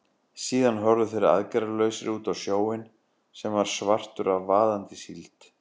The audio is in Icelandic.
Síðan horfðu þeir aðgerðalausir út á sjóinn, sem var svartur af vaðandi síld.